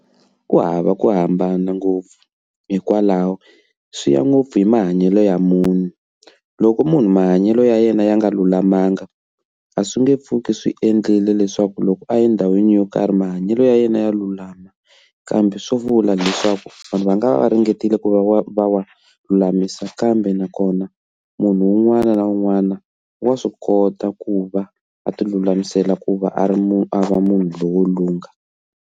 Ku hava ku hambana ngopfu hikwalaho swi ya ngopfu hi mahanyelo ya munhu loko munhu mahanyelo ya yena ya nga lulamanga a swi nge pfuki swi endlile leswaku loko a endhawini yo karhi mahanyelo ya yena ya lulama kambe swo vula leswaku vanhu va nga va ringetile ku va wa va wa lulamisa kambe nakona munhu un'wana na un'wana wa swi kota ku va a ti lulamisela ku va a ri munhu a va munhu loyi wo lungha.